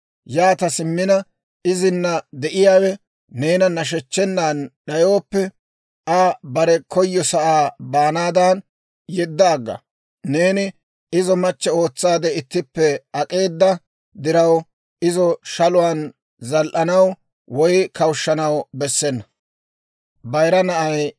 Yaata simmina, izina de'iyaawe neena nashechchennan d'ayooppe, Aa bare koyyosaa baanaadan yedda agga. Neeni izo machche ootsaade ittippe ak'eeda diraw, izo shaluwaan zal"anaw woy kawushanaw bessena.